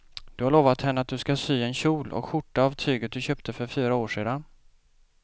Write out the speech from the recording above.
Du har lovat henne att du ska sy en kjol och skjorta av tyget du köpte för fyra år sedan.